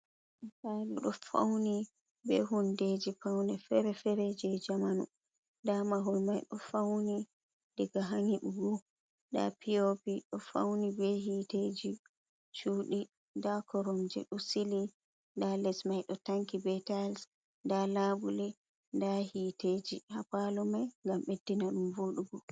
Palu ɗo fauni be hundeji paune fere-fere je jamanu, nda mahol mai ɗo fauni daga ha nyiɓugo nda pi o pi ɗo fauni be hiteji shudi, nda korum je ɗo sili nda les mai ɗo tanki be taiys, nda labuli, nda hiteji hapalu mai gam beddina ɗum voɗugo.